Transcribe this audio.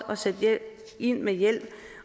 at sætte ind med hjælp